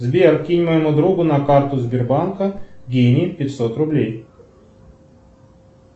сбер кинь моему другу на карту сбербанка денег пятьсот рублей